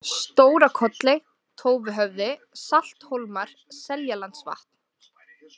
Stóra-Kolley, Tófuhöfði, Salthólmar, Seljalandsvatn